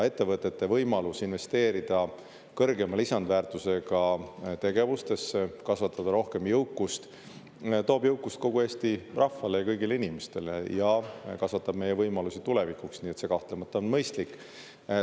Ettevõtete võimalus investeerida kõrgema lisandväärtusega tegevustesse, kasvatada rohkem jõukust toob jõukust kogu Eesti rahvale ja kõigile inimestele ja kasvatab meie võimalusi tulevikuks, nii et see kahtlemata on mõistlik.